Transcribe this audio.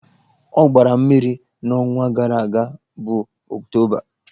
Ọ gbara mmiri n'ọnwa gara aga bụ Ọktoba.